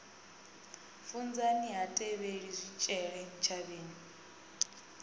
funzani ha tevheli zwitshele ntshavheni